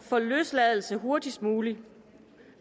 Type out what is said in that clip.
for løsladelse hurtigst muligt